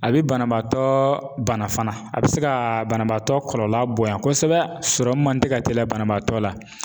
A bi banabaatɔ bana fana a bi se ka banabaatɔ kɔlɔlɔ bonya kosɛbɛ man te ka teliya banabaatɔ la.